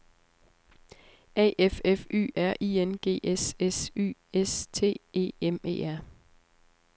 A F F Y R I N G S S Y S T E M E R